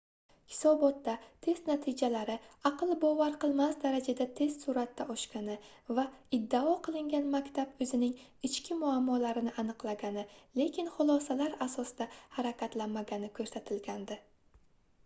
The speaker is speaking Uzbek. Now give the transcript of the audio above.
hisobotda test natijalari aql bovar qilmas darajada tez surʼatda oshgani va iddao qilingan maktab oʻzining ichki muammolarini aniqlagani lekin xulosalar asosida harakatlanmagani koʻrsatilgandi